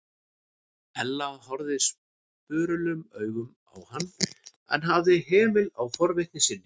Ella horfði spurulum augum á hann en hafði hemil á forvitni sinni.